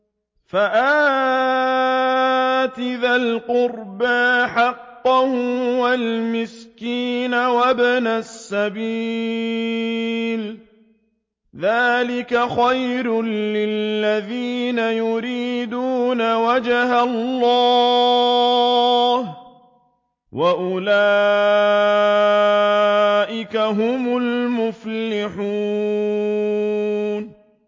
فَآتِ ذَا الْقُرْبَىٰ حَقَّهُ وَالْمِسْكِينَ وَابْنَ السَّبِيلِ ۚ ذَٰلِكَ خَيْرٌ لِّلَّذِينَ يُرِيدُونَ وَجْهَ اللَّهِ ۖ وَأُولَٰئِكَ هُمُ الْمُفْلِحُونَ